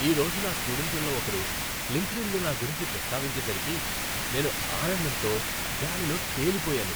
ఈ రోజు నా స్టూడెంట్లలో ఒకరు లింక్డ్ఇన్లో నా గురించి ప్రస్తావించేసరికి నేను ఆనందంతో గాలిలో తెలిపోయాను.